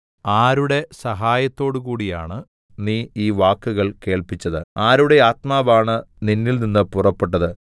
ആരുടെ സഹായത്തോടു കൂടിയാണ് നീ ഈ വാക്കുകൾ കേൾപ്പിച്ചത് ആരുടെ ആത്മാവാണ് നിന്നിൽനിന്ന് പുറപ്പെട്ടത്